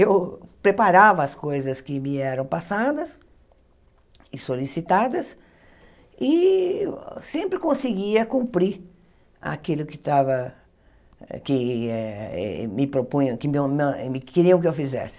Eu preparava as coisas que me eram passadas e solicitadas e sempre conseguia cumprir aquilo que tava que eh me propunham, que meu na me queriam que eu fizesse.